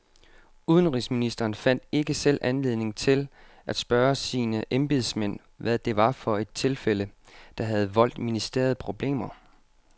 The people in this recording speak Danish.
Udenrigsministeren fandt ikke selv anledning til at spørge sine embedsmænd, hvad det var for et tilfælde, der havde voldt ministeriet problemer.